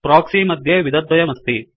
proxy मध्ये विधद्वयमस्ति